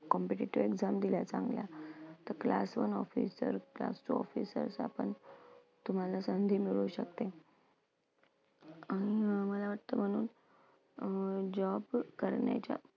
competitive exam दिल्या चांगल्या तर class one officer, class two officer आपण तुम्हाला संधी मिळू शकते. आणि अं मला वाटतं म्हणून अं job करण्याच्या